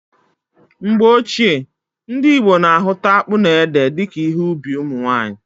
Mgbe ochie, ndị Igbo na ahụta akpụ na ede dika ihe ubi ụmụnwanyị